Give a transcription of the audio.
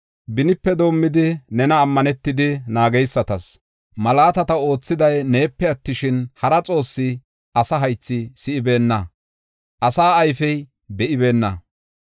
Benipe doomidi, nena ammanetidi, naageysatas malaatata oothiday neepe attishin, hara Xoossi asa haythi si7ibeenna; asa ayfey be7ibeenna.